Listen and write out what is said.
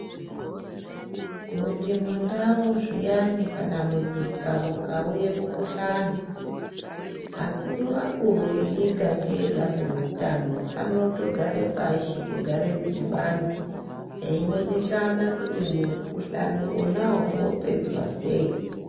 Kuti mundau zviyani kana munyika mukauye mukuhlani, akuru-akuru enyika ngeebazi reutano, anotogare pashi kugare midhibano, eyionesana kuti mukuhlani onawo wopedzwa sei.